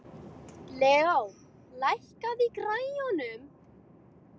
Leo, lækkaðu í græjunum.